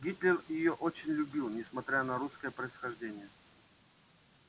гитлер её очень любил несмотря на русское происхождение